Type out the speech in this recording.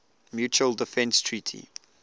mutual defense treaty